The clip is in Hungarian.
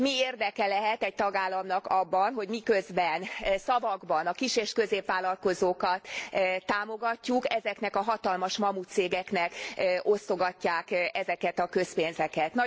Mi érdeke lehet egy tagállamnak abban, hogy miközben szavakban a kis és középvállalkozókat támogatjuk, ezeknek a hatalmas mamutcégeknek osztogatják ezeket a közpénzeket.